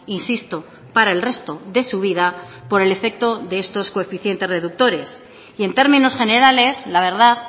insisto para el resto de su vida por el efecto de estos coeficientes reductores y en términos generales la verdad